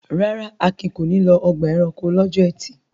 Rárá, Akin kò ní lọ ọgbà-ẹranko lọ́jọ́ ẹtì.